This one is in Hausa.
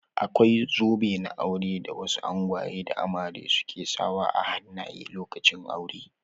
Akwai zobe na aure da wasu angwaye da amare su ke sa wa a hannaye lokacin aure.